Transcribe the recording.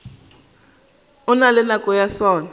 na le nako ya sona